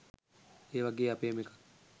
ඒ වගේ අපේම එකක්